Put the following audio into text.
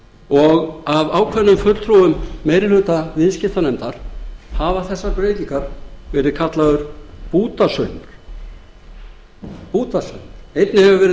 og af ákveðnum fulltrúum meiri hluta viðskiptanefndar hafa þessar breytingar verið kallaðar bútasaumur einnig hefur orðið skyndilausnir verið